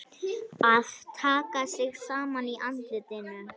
Að taka sig saman í andlitinu